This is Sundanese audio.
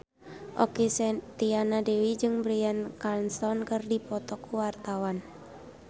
Okky Setiana Dewi jeung Bryan Cranston keur dipoto ku wartawan